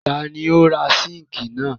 Ta ni ó ra síńkì náà?